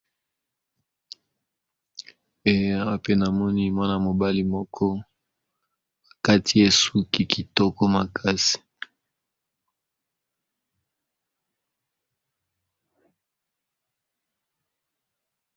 Elenge mobali azali na salon bakati ye suki kitoko makasi.